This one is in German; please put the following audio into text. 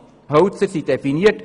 Die Hölzer sind definiert.